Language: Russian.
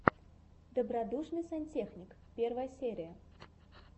добродушный сантехник первая серия